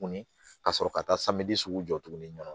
Ka sɔrɔ ka taa sugu jɔ tuguni